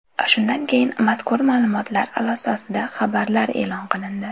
Shundan keyin mazkur ma’lumotlar asosida xabarlar e’lon qilindi.